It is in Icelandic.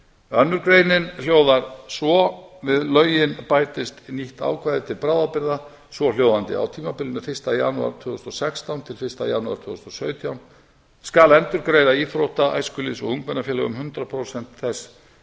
önnur grein hljóðar svo við lögin bætist nýtt ákvæði til bráðabirgða svohljóðandi á tímabilinu fyrsta janúar tvö þúsund og sextán til fyrsta janúar tvö þúsund og sautján skal endurgreiða íþrótta æskulýðs og ungmennafélögum hundrað prósent þess